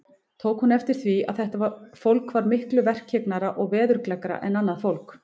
Tók hún eftir því, að þetta fólk var miklu verkhyggnara og veðurgleggra en annað fólk.